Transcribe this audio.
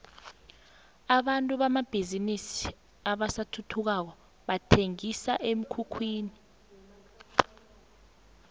abantu hamatjninini asathuthukako bathenqisa emkhukhwini